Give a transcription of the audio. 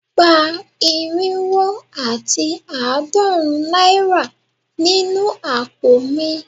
Gba irinwo ati aadorun naira ninu apo mi